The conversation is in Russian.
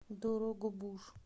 дорогобуж